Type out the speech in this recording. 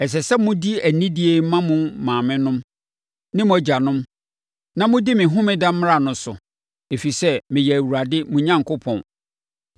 “ ‘Ɛsɛ sɛ mode anidie ma mo maamenom ne mo agyanom na modi me homeda mmara no so, ɛfiri sɛ, meyɛ Awurade mo Onyankopɔn.